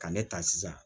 Ka ne ta sisan